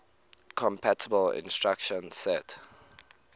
compatible instruction set